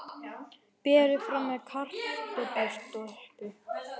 Berið fram með kartöflustöppu.